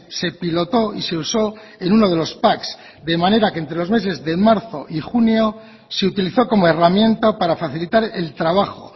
se pilotó y se usó en uno de los pac de manera de que entre los meses de marzo y junio se utilizó como herramienta para facilitar el trabajo